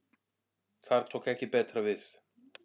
Þar tók ekki betra við